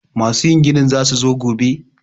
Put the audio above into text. masu yin ginin za su zo gobe?